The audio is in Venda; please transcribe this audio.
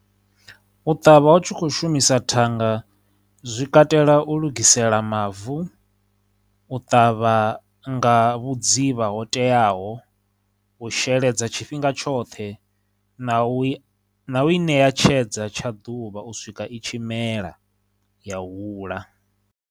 U ṱavha u tshi khou shumisa thanga zwi katela u lugisela mavu, u ṱavha nga vhudzivha ho teaho, u sheledza tshifhinga tshoṱhe, na u i, na u i ṋea tshedza tsha ḓuvha u swika i tshi mela ya hula.